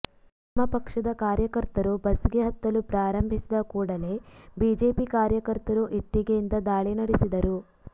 ನಮ್ಮ ಪಕ್ಷದ ಕಾರ್ಯಕರ್ತರು ಬಸ್ಗೆ ಹತ್ತಲು ಪ್ರಾರಂಭಿಸಿದ ಕೂಡಲೇ ಬಿಜೆಪಿ ಕಾರ್ಯಕರ್ತರು ಇಟ್ಟಿಗೆಯಿಂದ ದಾಳಿ ನಡೆಸಿದರು